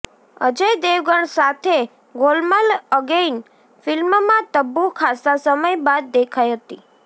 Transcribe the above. અજય દેવગણ સાથે ગોલમાલ અગેઇન ફિલ્મમાં તબ્બુ ખાસ્સા સમય બાદ દેખાઇ હતી